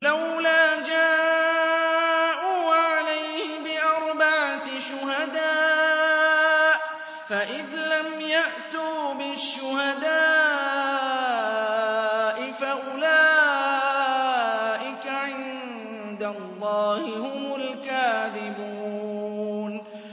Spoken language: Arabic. لَّوْلَا جَاءُوا عَلَيْهِ بِأَرْبَعَةِ شُهَدَاءَ ۚ فَإِذْ لَمْ يَأْتُوا بِالشُّهَدَاءِ فَأُولَٰئِكَ عِندَ اللَّهِ هُمُ الْكَاذِبُونَ